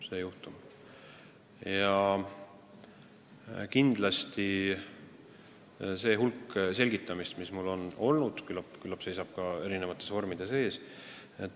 Mul on tulnud kõike palju selgitada ja küllap seisab seda selgitamist erinevates vormides veel ees.